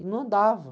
E não andava.